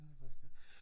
Det har vi faktisk ja